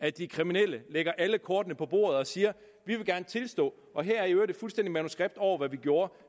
at de kriminelle lægger alle kortene på bordet og siger vi vil gerne tilstå og her er i øvrigt et fuldstændig manuskript over hvad vi gjorde